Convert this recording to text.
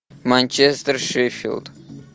манчестер шеффилд